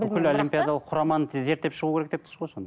бүкіл олимпиадалық құраманы зерттеп шығау керек деп тұрсыз ғой